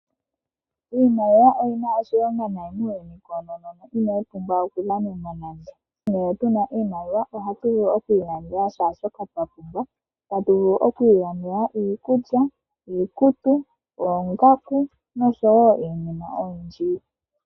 Iimaliwa oyi na oshilonga nayi muuyuni koonono, inayi pumbwa okudhanenwa nande. Ngele tuna iimaliwa ohatu vulu okwi ilandela shaashoka twa pumbwa, tatu vulu okwi ilandela iikulya, iikutu, oongaku noshowo iinima oyindji.